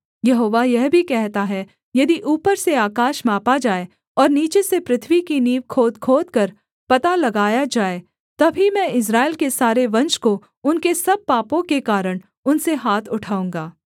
यहोवा यह भी कहता है यदि ऊपर से आकाश मापा जाए और नीचे से पृथ्वी की नींव खोद खोदकर पता लगाया जाए तब ही मैं इस्राएल के सारे वंश को उनके सब पापों के कारण उनसे हाथ उठाऊँगा